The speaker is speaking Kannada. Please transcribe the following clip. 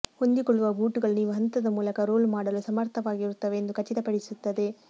ಹೊಂದಿಕೊಳ್ಳುವ ಬೂಟುಗಳು ನೀವು ಹಂತದ ಮೂಲಕ ರೋಲ್ ಮಾಡಲು ಸಮರ್ಥವಾಗಿರುತ್ತವೆ ಎಂದು ಖಚಿತಪಡಿಸುತ್ತದೆ